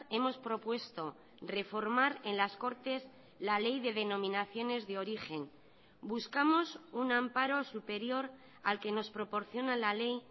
hemos propuesto reformar en las cortes la ley de denominaciones de origen buscamos un amparo superior al que nos proporciona la ley